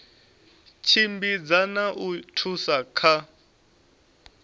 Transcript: tshimbidza na u thusa kha